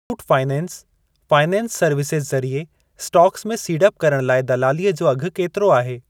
Muthoot finance finance services ज़रिए stocks में सीड़प करण लाइ दलालीअ जो अघि केतिरो आहे?